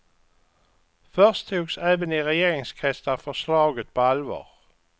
Först togs även i regeringskretsar förslaget på allvar.